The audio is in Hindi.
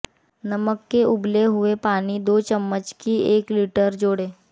नमक के उबले हुए पानी दो चम्मच की एक लीटर जोड़ें